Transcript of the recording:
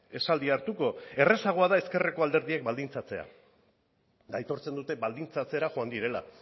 esaldia hartuko errazagoa da ezkerreko alderdiek baldintzatzea aitortzen dute baldintzatzera joan direla